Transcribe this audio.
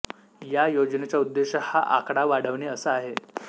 या योजनेचा उद्देश हा आकडा वाढविणे असा आहे